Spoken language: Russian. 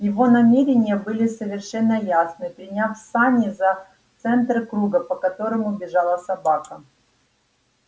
его намерения были совершенно ясны приняв сани за центр круга по которому бежала собака